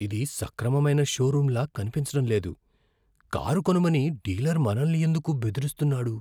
ఇది సక్రమమైన షోరూమ్లా కనిపించడం లేదు. కారు కొనమని డీలర్ మనల్ని ఎందుకు బెదిరిస్తున్నాడు?